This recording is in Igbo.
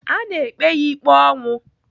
A na-ekpe ya ikpe ọnwụ.